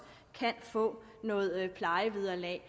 kan få noget plejevederlag